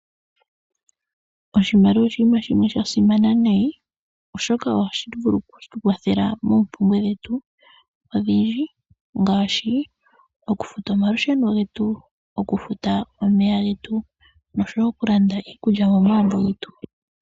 Oshimaliwa oshinima shimwe dhasimana nayi oshoka ohashi tukwathele moombwe dhetu odhindji ngaashi okufuta omalusheno nomeya noshowoo okulanda iipalutha momagumbo getu.